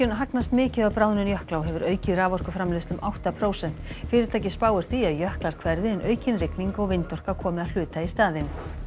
hagnast mikið á bráðnun jökla og hefur aukið raforkuframleiðsla um átta prósent fyrirtækið spáir því að jöklar hverfi en aukin rigning og vindorka komi að hluta í staðinn